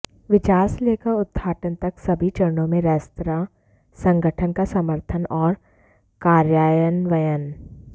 विचार से लेकर उद्घाटन तक सभी चरणों में रेस्तरां संगठन का समर्थन और कार्यान्वयन